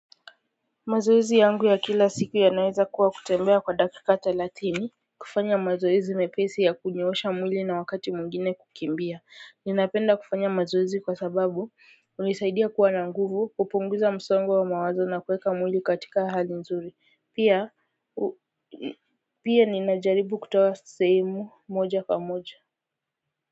Mazoezi yangu ya kila siku yanaeza kuwa kutembea kwa dakika thelathini kufanya mazoezi mepesi ya kunyoosha mwili na wakati mwingine kukimbia ninapenda kufanya mazoezi kwa sababu hunisaidia kuwa na nguvu hupunguza msongo wa mawazo na kuweka mwili katika hali nzuri pia pia ninajaribu kutoa sehemu moja kwa moja.